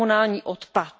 komunální odpad.